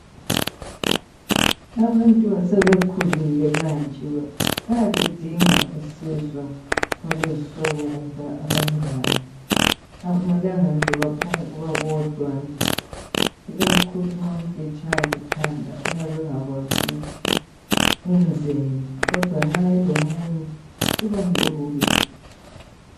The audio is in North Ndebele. Abantu asebekhulile kanje bayaludinga usizo olwezihlobo kumbe abangane. Akumelanga babebodwa nje ikakhulu nxa umuntu etshaywa likhanda uyabe engakwazi ukuthi enzeni kodwa nxa elomunye kubalula.